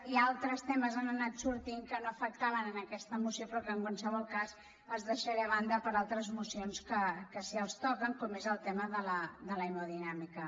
i altres temes han anat sortint que no afectaven aquesta moció però que en qualsevol cas els deixaré a banda per a altres mocions que sí que els toquen com és el tema de l’hemodinàmica